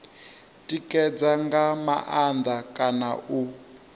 tikedza nga maanḓa kana u